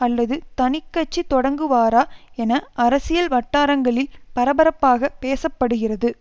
அல்லது தனிக்கட்சி தொடங்குவாரா என அரசியல் வட்டாரங்களில் பரபரப்பாக பேச படுகிறது